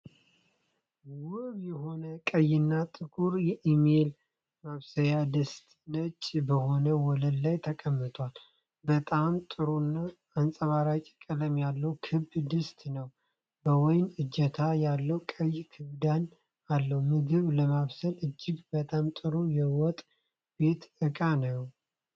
ውብ የሆነ ቀይና ጥቁር የኢሜል ማብሰያ ድስት ነጭ በሆነ ወለል ላይ ተቀምጧል። በጣም ጥሩና አንጸባራቂ ቀለም ያለው ክብ ድስት ነው፤ በወይ እጀታ ያለው ቀይ ክዳንም አለው። ምግብ ለማብሰል እጅግ በጣም ጥሩ የወጥ ቤት ዕቃ ነው።